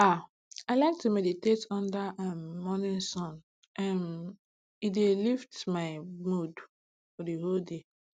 ah i like to meditate under um morning sun um e dey lift my mood for the whole day